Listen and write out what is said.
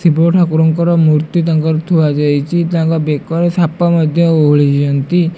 ଶିବ ଠାକୁରଙ୍କର ମୁର୍ତ୍ତି ତାଙ୍କର ଥୁଆ ଯାଇଚି ତାଙ୍କ ବେକ ରେ ସାପ ମଧ୍ଯ ଓହଳିଚନ୍ତି।